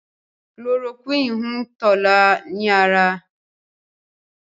Chloroquine hùn Tola ní ára.